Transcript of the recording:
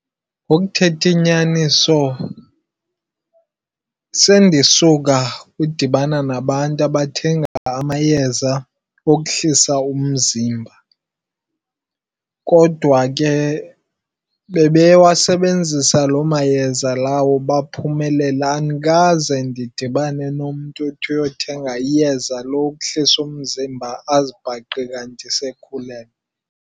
Ngokuthetha inyaniso, sendisuka ukudibana nabantu abathenga amayeza okuhlisa umzimba. Kodwa ke bebewasebenzisa loo mayeza lawo baphumelela. Andikaze ndidibane nomntu ethi uyothenga iyeza lokuhlisa umzimba azibhaqe kanti sekhulelwe.